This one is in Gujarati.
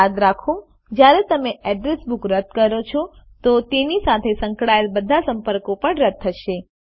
યાદ રાખો જયારે તમે અડ્રેસ બુક રદ કરો છો તો તેની સાથે સંકળાયેલ બધા સંપર્કો પણ રદ થશે